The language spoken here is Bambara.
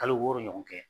Kalo wɔɔrɔ ɲɔgɔn kɛ